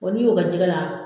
n'i y'o kɛ jɛgɛ la